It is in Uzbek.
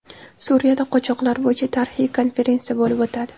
Suriyada qochoqlar bo‘yicha tarixiy konferensiya bo‘lib o‘tadi.